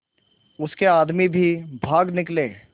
उसके आदमी भी भाग निकले